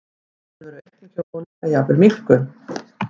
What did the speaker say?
Mun vera aukning á honum eða jafnvel minnkun?